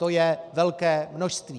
To je velké množství.